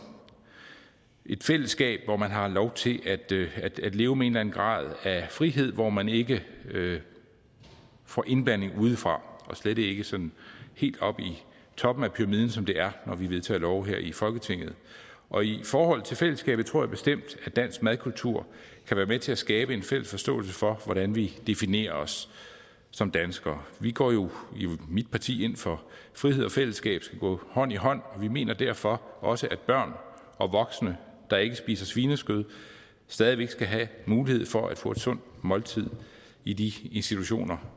et fællesskab hvor man har lov til at leve med en eller anden grad af frihed hvor man ikke får indblanding udefra og slet ikke sådan helt oppe i toppen af pyramiden som det er når vi vedtager love her i folketinget og i forhold til fællesskabet tror jeg bestemt at dansk madkultur kan være med til at skabe en fælles forståelse for hvordan vi definerer os som danskere vi går jo i mit parti ind for at frihed og fællesskab skal gå hånd i hånd og vi mener derfor også at børn og voksne der ikke spiser svinekød stadig væk skal have mulighed for at få et sundt måltid i de institutioner